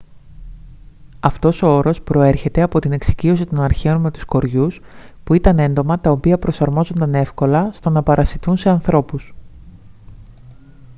αυτός ο όρος προέρχεται από την εξοικείωση των αρχαίων με τους κοριούς που ήταν έντομα τα οποία προσαρμόζονταν εύκολα στο να παρασιτούν σε ανθρώπους